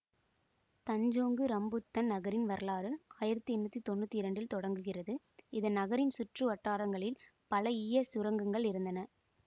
Tanjong Rambutan நகரின் வரலாறு ஆயிரத்தி எண்ணூற்றி தொன்னூற்தி இரண்டில் தொடங்குகிறது இந்த நகரின் சுற்று வட்டாரங்களில் பல ஈயச் சுரங்கங்கள் இருந்தன